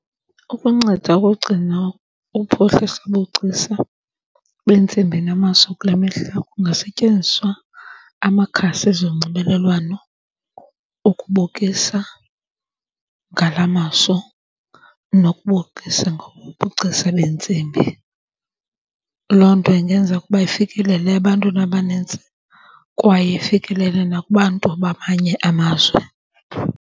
Ukunceda ukugcina uphuhliso wobugcisa bentsimbi namaso kule mihla kungasetyenziswa amakhasi ezonxibelelwano ukubukisa ngala maso nokubukisa ngobu bugcisa beentsimbi. Loo nto ingenza ukuba ifikelele ebantwini abanintsi kwaye ifikelele nakubantu bamanye amazwe.